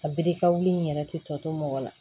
A biri kawuli in yɛrɛ tɛ tɔ to mɔgɔ la